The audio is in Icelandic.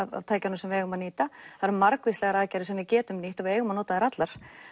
tækjunum sem við eigum að nýta það er margvíslegar aðferðir sem við getum nýtt og við eigum að nota þær allar